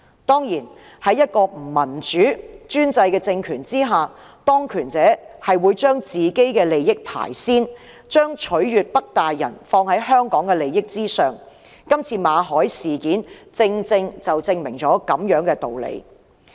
當然，在一個不民主的專制政權下，當權者是會把自己的利益放於首位，把"取悅'北大人'"放在香港的利益之上，今次馬凱事件正好證明了這個道理。